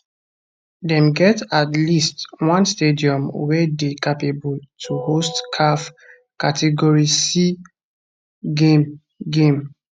dem get at least one stadium wey dey capable to host caf category c game game